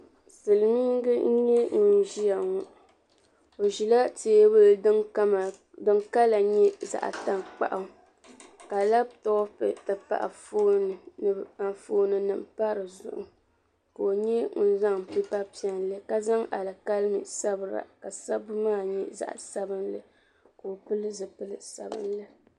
Silimiinsi nyɛla bin bɛ bati bati ni n chana silmiin dabba ayi nyɛla ban gbubi yino ŋun nyɛ sarati ka bi zaŋ tanpiɛlli vuli o gbali ka o nyɛ ŋun so jinjam sabinli ka yɛ liiga din nyɛ leemu kala la tingbani sheli zuɣu bi ni chani ŋɔ nyɛla zaɣa tankpaɣu